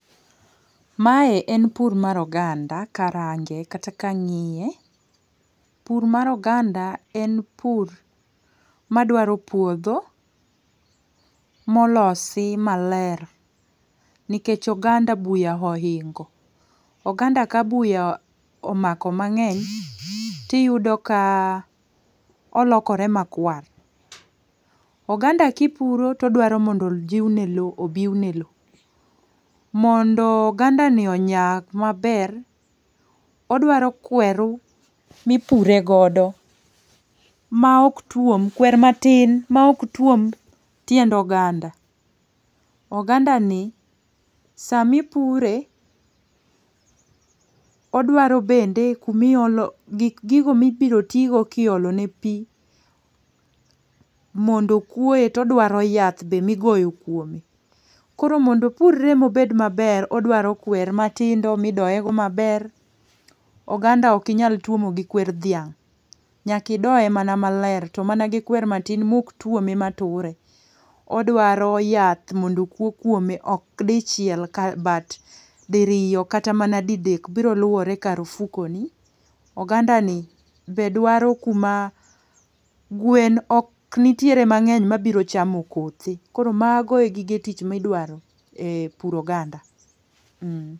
Ma en pur mar oganda ka arange kata ka ang'iye. Pur mar oganda en pur ma dwaro puodho molosi maler nikech oganda buya oingo, oganda ka buya omako mang'eny, ti iyudo ka olokore ma kwar. oganda ki ni puro to odwa ni ojiwne lo obiwne lo. Mondo oganda ni onyag ma ber, odwaro kweru mi ipuro godo, ma ok twom, kwer ma tin ma ok twom tiend oganda. Oganda ni sa mi ipure odwaro bende ku ma iolo, gigo mi biro ti go ki iolo ne pi, mondo okwoye to odwaro yath mi igoyo kuome. Koro mondo opurre ma obed ma ber odwaro kwer ma tindo mi idoye go ma ber. Oganda ok inyal twomo gi kwer dhiang'. Nyaka idoye mana ma ler to mana gi kwer ma tin ma ok twome ma ture. Odwaro yath mondo okwo kuome ok di chiel but di riyo kata mana di dek. Biro luore gi kar ofukoni. Oganda ni be dwaro kuma gwen ok nitiere mang'eny ma ok bi chamo kothe. Koro mago e gige tich mi idwaro e puro oganda.